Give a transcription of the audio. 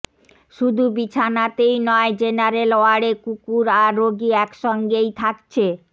শুধু বিছানাতেই নয় জেনারেল ওয়ার্ডে কুকুর আর রোগী একসঙ্গেই থাকছে